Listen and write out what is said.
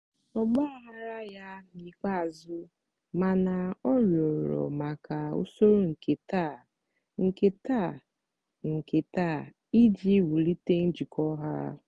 ọ gbaghaara ya n'ikpeazụ mana ọ rịọrọ maka usoro nke nta nke nta nke nta iji wulite njikọ ha.